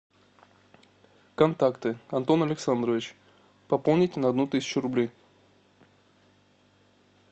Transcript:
контакты антон александрович пополнить на одну тысячу рублей